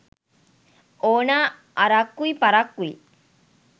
ඕනා අරක්කුයි පරක්කුයි